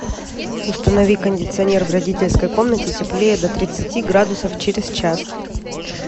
установи кондиционер в родительской комнате теплее до тридцати градусов через час